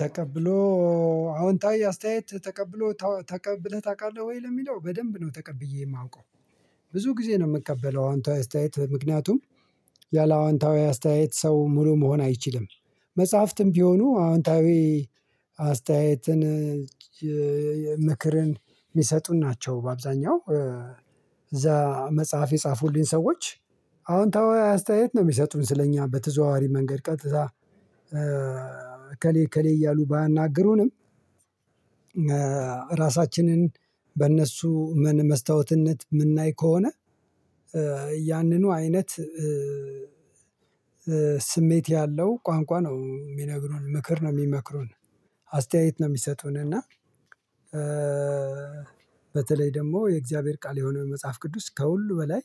ተቀብሎ አዎንታዊ አስተያየት ተቀብሎ ተቀብለህ ታውቃለህ ወይ ለሚለው በደንብ ነው ተቀብዬ የማውቀው። ብዙ ጊዜ ነው የምቀበለው አዎንታዊ አስተያየት ምክንያቱም ያለአዎንታዊ አስተያየት ሰው ሙሉ መሆን አይችልም። መጽሐፍትም ቢሆኑ አዎንታዊ አስተያየትን ምክርን የሚሰጡ ናቸው። በአብዛኛው እዛ መጽሐፍ የጻፉልኝ ሰዎች አወንታዊ አስተያየት ነው የሚሰጡን ስለእኛ በተዘዋዋሪ መንገድ ቀጥታ እከሌ እከሌ እያሉ ባያናግሩንም። ራሳችንን በእነሱ መስታወትነት የምናይ ከሆነ ያንኑ አይነት ስሜት ያለው ቋንቋ ነው የሚነግሩን ምክር ነው የሚመክሩን። አስተያየት ነው የሚሰጡን እና በተለይ ደግሞ የእግዚአብሔር ቃል የሆነው የመጽሐፍ ቅዱስ ከሁሉ በላይ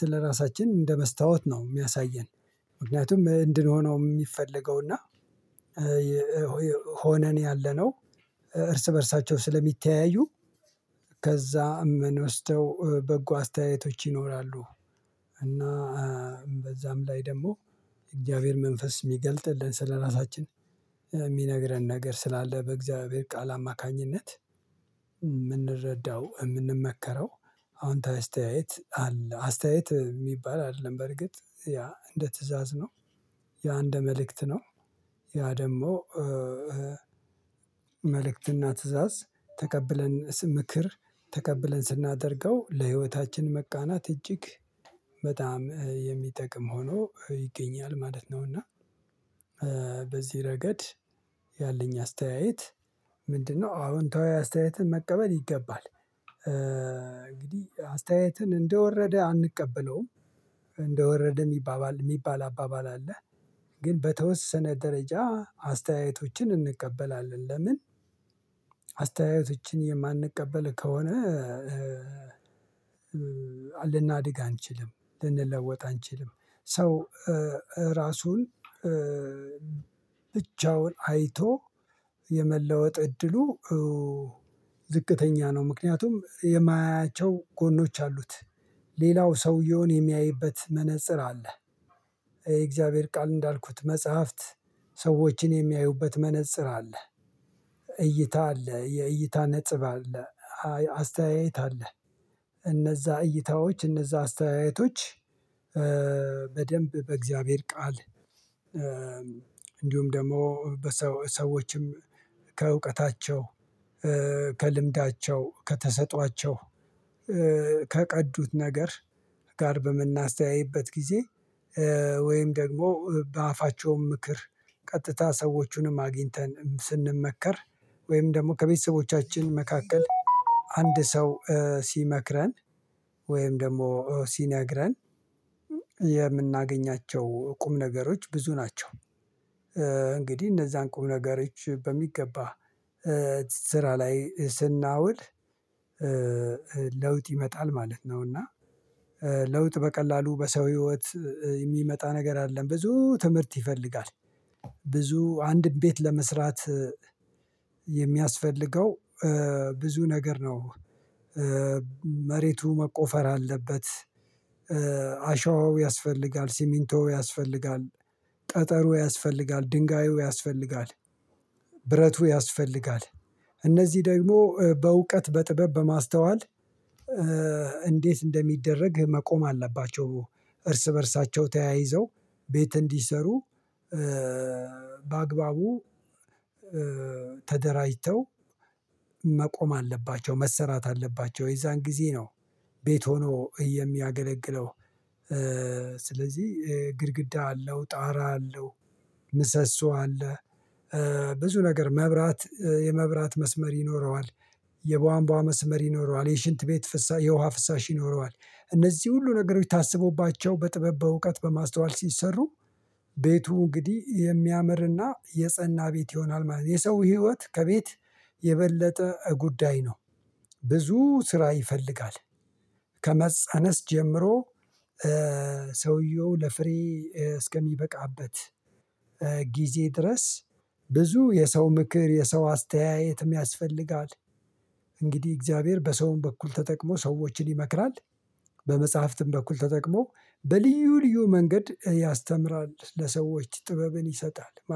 ስለራሳችን እንደ መስታወት ነው የሚያሳየን። ምክንያቱም እንድንሆነው የሚፈለገው እና ሆነን ያለነው እርስ በእርሳቸው ስለሚተያዩ ከዛ እመንወስደው በጎ አስተያየቶች ይኖራሉ። እና በዛም ላይ ደግሞ እግዚአብሔር መንፈስ የሚገልጥልን ስለራሳችን የሚነግረን ነገር ስላለ በእግዚአብሔር ቃል አማካኝነት የምንረዳው የምንመከረው አዎንታዊ አስተያየት አለ አስተያየት የሚባል አይደለም በርግጥ ያ እንደ ትእዛዝ ነው። ያ እንደ መልእክት ነው። ያ ደግሞ መልእክት እና ትእዛዝ ተቀብለን ምክር ተቀብለን ስናደርገው ለህይወታችን መቃናት እጅግ በጣም የሚጠቅም ሆኖ ይገኛል ማለት ነው። እና በዚህ ረገድ ያለኝ አስተያየት ምንድነው? አወንታዊ አስተያየትን መቀበል ይገባል እንግዲህ አስተያየትን እንደወረደ አንቀበለውም። እንደ ወረደ የሚባባል የሚባል አባባል አለ። ግን በተወሰነ ደረጃ አስተያየቶችን እንቀበላለን ለምን አስተያየቶችን የማንቀበል ከሆነ ልናድግ አንችልም ልንለወጥ አንችልም። ሰው ራሱን ብቻውን አይቶ የመለወጥ እድሉ ዝቅተኛ ነው። ምክንያቱም የማያያቸው ጎኖች አሉት ሌላው ሰውየውን የሚያይበት መነፅር አለ። የእግዚአብሔር ቃል እንዳልኩት መጽሐፍት ሰዎችን የሚያዩበት መነፅር አለ። እይታ አለ የእይታ ነጥብ አለ አስተያየት አለ እነዛ እይታዎች እነዛ አስተያየቶች በደንብ በእግዚአብሔር ቃል እንዲሁም ደግሞ በሰዎችም ከእውቀታቸው ከልምዳቸው ከተሰጧቸው ከቀዱት ነገር ጋር በምናስተያይበት ጊዜ ወይም ደግሞ በአፋቸውም ምክር ቀጥታ ሰዎቹንም አግኝተን ስንመከር ወይም ደግሞ ከቤተሰቦቻችን መካከል አንድ ሰው ሲመክረን ወይም ደግሞ ሲነግረን የምናገኛቸው ቁም ነገሮች ብዙ ናቸው። እንግዲህ እነዛን ቁም ነገሮች በሚገባ ስራ ላይ ስናውል ለውጥ ይመጣል ማለት ነው። እና ለውጥ በቀላሉ በሰው ህይወት የሚመጣ ነገር አይደለም ብዙ ትምህርት ይፈልጋል። ብዙ አንድን ቤት ለመስራት የሚያስፈልገው ብዙ ነገር ነው። መሬቱ መቆፈር አለበት አሸዋው ያስፈልጋል ሲሚንቶው ያስፈልጋል ጠጠሩ ያስፈልጋል ድንጋዩ ያስፈልጋል ብረቱ ያስፈልጋል እነዚህ ደግሞ በእውቀት በጥበብ በማስተዋል እንዴት እንደሚደረግ መቆም አለባቸው። እርስ በእርሳቸው ተያይዘው ቤት እንዲሰሩ በአግባቡ ተደራጅተው መቆም አለባቸው መሰራት አለባቸው የዛን ጊዜ ነው ቤት ሆኖ የሚያገለግለው። ስለዚህ ግድግዳ አለው ጣራ አለው ምሰሶ አለ ብዙ ነገር መብራት የመብራት መስመር ይኖረዋል የቧንቧ መስመር ይኖረዋል የሽንት ቤት ፍሳሽ የውሃ ፍሳሽ ይኖረዋል እነዚህ ሁሉ ነገሮች ታስቦባቸው በጥበብ በእውቀት በማስተዋል ሲሰሩ ቤቱ እንግዲህ የሚያምር እና የጸና ቤት ይሆናል ማለት ነው። የሰው ህይወት ከቤት የበለጠ ጉዳይ ነው። ብዙ ስራ ይፈልጋል ከመጸነስ ጀምሮ ሰውየው ለፍሬ እስከሚበቃበት ጊዜ ድረስ ብዙ የሰው ምክር የሰው አስተያየትም ያስፈልጋል። እንግዲህ እግዚአብሔር በሰውም በኩል ተጠቅሞ ሰዎችን ይመክራል። በመጽሐፍትም በኩል ተጠቅሞ በልዩ ልዩ መንገድ ያስተምራል ለሰዎች ጥበብን ይሰጣል